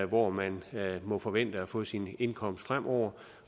hvor man må forvente at få sin indkomst fremover